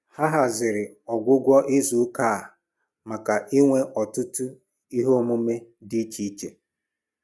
Ha haziri ọgwụgwụ izuụka a maka inwe ọtụtụ ihe emume dị iche iche